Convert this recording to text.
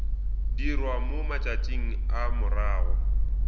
dirwa mo matšatšing a morago